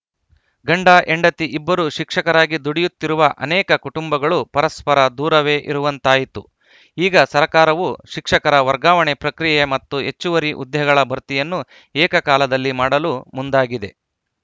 ಗಂಡ ಹೆಂಡತಿ ಇಬ್ಬರೂ ಶಿಕ್ಷಕರಾಗಿ ದುಡಿಯುತ್ತಿರುವ ಅನೇಕ ಕುಟುಂಬಗಳು ಪರಸ್ಪರ ದೂರವೇ ಇರುವಂತಾಯಿತು ಈಗ ಸರಕಾರವು ಶಿಕ್ಷಕರ ವರ್ಗಾವಣೆ ಪ್ರಕ್ರಿಯೆ ಮತ್ತು ಹೆಚ್ಚುವರಿ ಹುದ್ದೆಗಳ ಭರ್ತಿಯನ್ನು ಏಕಕಾಲದಲ್ಲಿ ಮಾಡಲು ಮುಂದಾಗಿದೆ